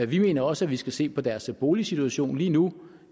vi mener også at vi skal se på deres boligsituation lige nu